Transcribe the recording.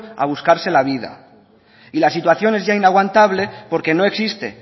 a buscarse la vida y la situación es ya inaguantable porque no existe